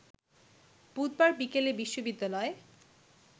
বুধবার বিকেলে বিশ্ববিদ্যালয়ে